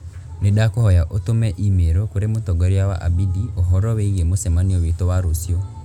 Nĩndakũhoya ũtũme i-mīrū kũrĩ mũtongoria wa Abidi ũhoro wĩgĩĩ mũcemanio witũ wa rũciũ.